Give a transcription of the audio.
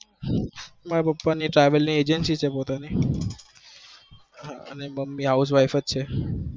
મારા પાપા ને travel ની agency છે ને મમ્મી house wife જ છે